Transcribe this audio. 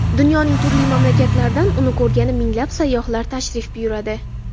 Dunyoning turli mamlakatlaridan uni ko‘rgani minglab sayyohlar tashrif buyuradi.